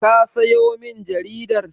Ka sayo min jaridar?